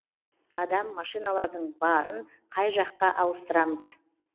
адам машиналардың барын қай жаққа ауыстырамыз